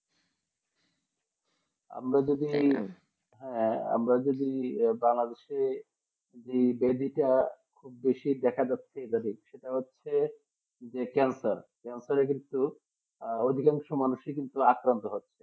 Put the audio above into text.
আমরা যদি হ্যাঁ আমরা যদি Bangladesh যে ব্যর্থতা খুব বেশি দেখা যাচ্ছে সেটা হচ্ছে ক্যান্সার ক্যান্সার কিন্তু অধিকাংশ মানুষ আক্রান্ত হচ্ছে